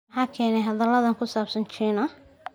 Maxaa keenay hadalladan ku saabsan China?